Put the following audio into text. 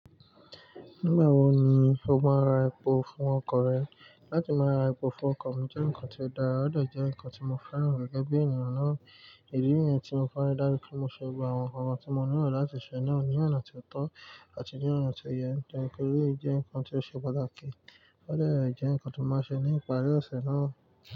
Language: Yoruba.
Nígbà wo ni o máa n ra epo fún ọkọ̀ rẹ? Látí máa ra epo fún ọkọ̀ mi jẹ́ nǹkan tí ó dára, ó de jẹ nǹkan tí mo fẹ́ràn gẹ́gẹ́ bí ènìyàn náà. Ìdí niyẹn tí mo fẹ́ ra dá bí mo ṣe gbogbo àwọn ǹkan tí mo nílò láti ṣe náà ní ọ̀nà tí ó tọ́ àti ní ọ̀nà tó yẹ tori pe eleyi jẹ nǹkan tí ó ṣe pàtàkì. Ó de jẹ nǹkan tí mo màá n ṣe ní ìparí ọ̀sẹ̀ náà.